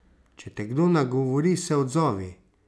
Če te kdo nagovori, se odzovi.